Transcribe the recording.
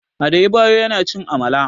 Adebayo yana cin Amala.